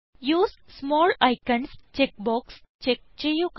use small icons check box check ചെയ്യുക